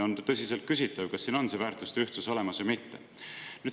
On tõsiselt küsitav, kas siin on see väärtuste ühtsus olemas või mitte.